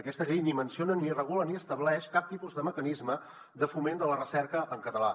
aquesta llei ni menciona ni regula ni estableix cap tipus de mecanisme de foment de la recerca en català